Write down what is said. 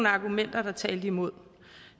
argumenter der talte imod